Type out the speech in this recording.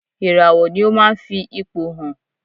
Ìràwọ̀ ni ó ma ń fi ipò hàn.